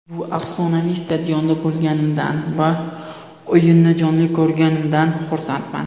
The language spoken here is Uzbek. Bu afsonaviy stadionda bo‘lganimdan va o‘yinni jonli ko‘rganimdan xursandman.